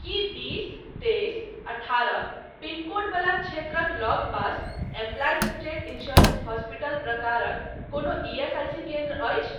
की बीस तेइस अठारह पिन कोड वला क्षेत्रक लगपास एम्प्लाइज स्टेट इन्स्योरेन्स हॉस्पिटल प्रकारक कोनो ईएसआईसी केन्द्र अछि ?